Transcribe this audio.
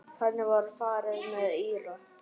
Þannig var farið með Íra.